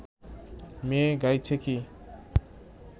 মেয়ে গাইছে কি